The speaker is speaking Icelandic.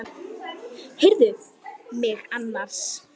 Heyrðu mig annars!